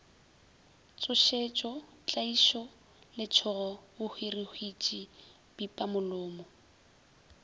tšhošetšo tlaišo letšhogo bohwirihwitši pipamolomo